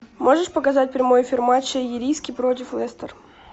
можешь показать прямой эфир матча ириски против лестер